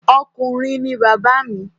Ọkùnrin ní bàbá mi.